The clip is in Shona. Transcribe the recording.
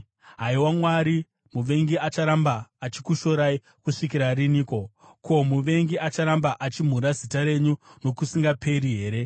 Haiwa Mwari, muvengi acharamba achikushorai kusvikira riniko? Ko, muvengi acharamba achimhura zita renyu nokusingaperi here?